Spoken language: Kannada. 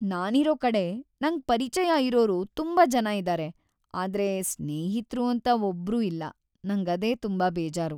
ನಾನಿರೋ ಕಡೆ ನಂಗ್‌ ಪರಿಚಯ ಇರೋರು ತುಂಬಾ ಜನ ಇದಾರೆ ಆದ್ರೆ ಸ್ನೇಹಿತ್ರು ಅಂತ ಒಬ್ರೂ ಇಲ್ಲ, ನಂಗದೇ ತುಂಬಾ ಬೇಜಾರು.